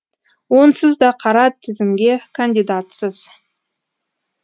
онсыз да қара тізімге кандидатсыз